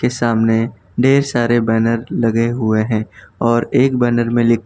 के सामने ढेर सारे बैनर लगे हुए हैं और एक बैनर में लि--